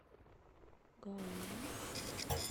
гаоми